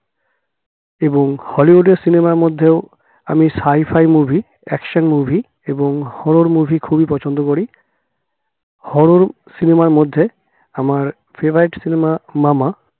এবং হলিউডের cinema র মধ্যেও আমি sci fi movie action movie এবং horror movie খুবই পছন্দ করি horror cinema র মধ্যে আমার favorite cinema মামা